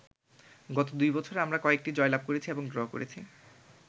গত দুই বছরে আমরা কয়েকটি জয়লাভ করেছি এবং ড্র করেছি।